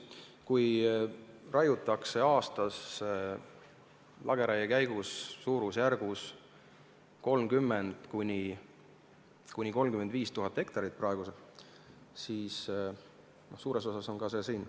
Kui aastas raiutakse praegu lageraie käigus 30 000 – 35 000 hektarit, siis suures osas on ka see siin.